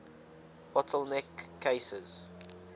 bottle neck cases